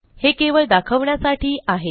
हे केवळ दाखवण्यासाठी आहे